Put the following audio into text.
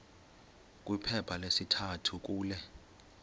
kwiphepha lesithathu kule